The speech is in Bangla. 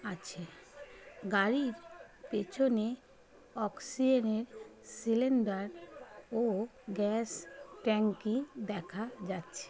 আছে গাড়ির পেছনে অক্সি - এর সিলিন্ডার ও গ্যাস ট্যাঙ্ক -ই দেখা যাচ্ছে।